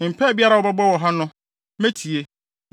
Mpae biara a wɔbɛbɔ wɔ ha no, metie,